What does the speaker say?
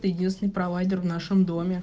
то единственный провайдер в нашем доме